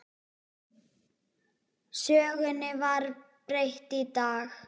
Sögunni var breytt í dag.